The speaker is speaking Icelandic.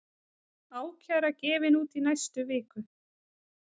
Ákæra gefin út í næstu viku